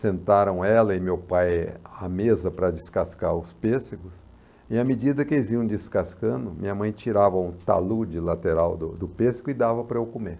sentaram ela e meu pai à mesa para descascar os pêssegos, e à medida que eles iam descascando, minha mãe tirava um talude lateral do do pêssego e dava para eu comer.